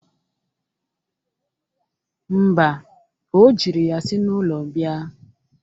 Mba, o jiri ya si n'ụlọ bịa.